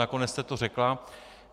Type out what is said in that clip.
Nakonec jste to řekla.